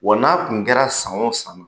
Wa n'a tun kɛra san o san